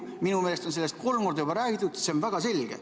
Minu meelest on sellest juba kolm korda räägitud, see on väga selge.